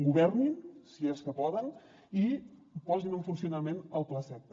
governin si és que poden i posin en funcionament el plaseqta